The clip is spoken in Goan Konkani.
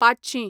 पांचशीं